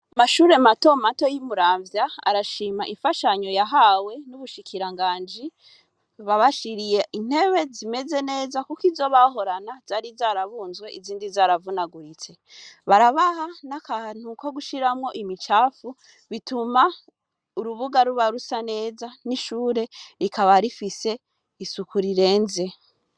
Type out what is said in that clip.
Amashure matomato yi Muramvya arashima imfashanyo yahawe n'umushikiranganji wabashiriye intebe zimeze neza kuko izo bahorana zari zarabunzwe izindi zaravunaguritse, barabaha nakantu ko kushiramwo imicafu bituma urubuga ruba rusa neza n'ishure rikaba rifise isuku rirenze.